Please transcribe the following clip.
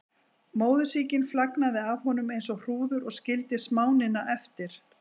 Móðursýkin flagnaði af honum eins og hrúður og skildi smánina eftir.